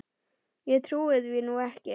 Ég trúi því nú ekki!